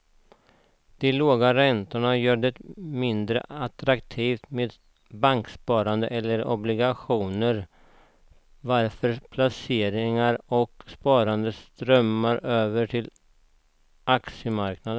De låga räntorna gör det mindre attraktivt med banksparande eller obligationer varför placeringar och sparande strömmar över till aktiemarknaden.